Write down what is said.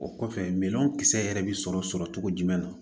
O kɔfɛ minan kisɛ yɛrɛ bɛ sɔrɔ sɔrɔ cogo jumɛn na